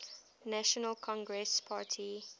national congress party